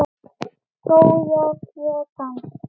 Skógar Japans